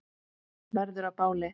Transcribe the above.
Verður að báli.